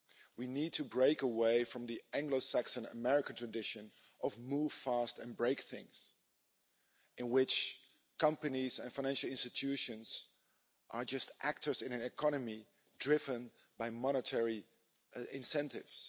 We need to break away from the Anglo Saxon-American tradition of move fast and break things', in which companies and financial institutions are just actors in an economy driven by monetary incentives.